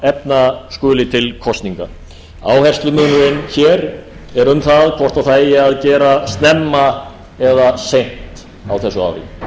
efna skuli til kosninga áherslumunurinn hér er um það hvort það eigi að gera snemma eða seint á þessu ári